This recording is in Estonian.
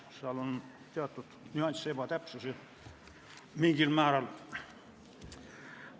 Seal on teatud nüansse ja mingil määral ebatäpsusi.